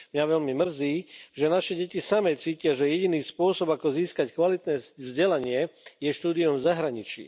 Mňa veľmi mrzí, že naše deti samy cítia, že jediný spôsob, ako získať kvalitné vzdelanie, je štúdium v zahraničí.